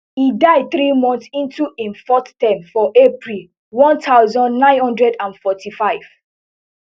e die three months into im fourth term for april one thousand, nine hundred and forty-five